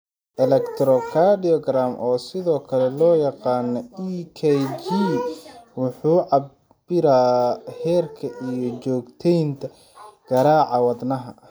Electrocardiogram, oo sidoo kale loo yaqaan EKG, wuxuu cabbiraa heerka iyo joogteynta garaaca wadnahaaga.